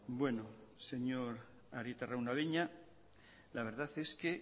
bueno señor arieta araunabeña la verdad es que